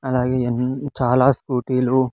అలాగే అని చాలా స్కూటీ లు.